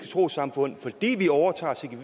troessamfund fordi vi overtager